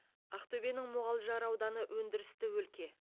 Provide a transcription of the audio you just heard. ақтөбенің мұғалжар ауданы өндірісті өлке